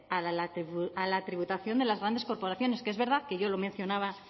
a la tributación de las grandes corporaciones que es verdad que yo lo mencionaba